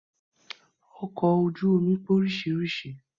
Ọkọ̀ ojú omi pé oríṣiríṣi